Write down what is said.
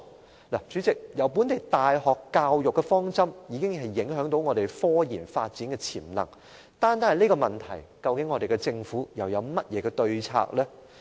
代理主席，本地大學的教育方針已對香港的科研發展潛能造成影響，而針對這個問題，香港政府又有甚麼對策呢？